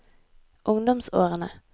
ungdomsårene